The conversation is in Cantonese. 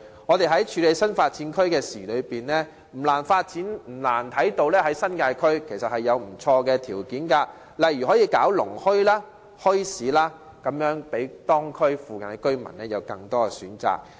我們在處理新發展區的事宜中，不難發現新界區其實已有些地方條件不錯，可以舉辦農墟或墟市，讓當區或附近的居民有更多選擇。